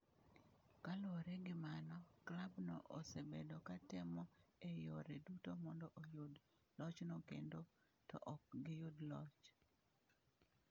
Kaluwore gi mano, klabno osebedo ka temo e yore duto mondo oyud lochno kendo to ok giyudo loch.